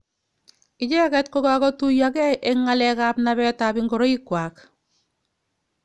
Icheket kokakotuiakei eng ngalek ap napet ap ingoroik kwako.